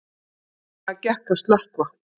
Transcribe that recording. Greiðlega gekk að slökkva